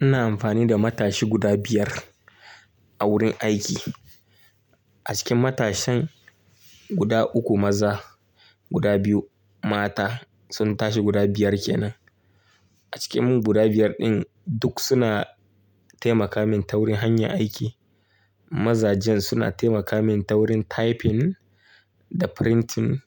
Ina amfani da matashi guda biyar a wurin aiki. A cikin matashin guda uku maza, guda biyu mata. Sun tashi guda biyar kenan. A cikin mu guda biyar din duk suna taimaka min ta wurin hanya aiki. Maza jan suna taimaka min ta wurin typing da printing.